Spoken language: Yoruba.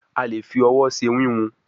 a lẹ fí òwò ṣe wiwun.